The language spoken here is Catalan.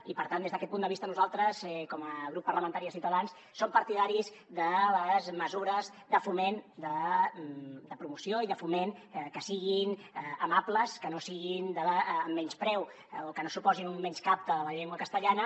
i per tant des d’aquest punt de vista nosaltres com a grup parlamentari de ciutadans som partidaris de mesures de promoció i de foment que siguin amables que no siguin de menyspreu o que no suposin un menyscapte de la llengua castellana